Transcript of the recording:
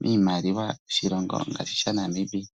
miimaliwa yoshilongo ngaashi sha Namibia.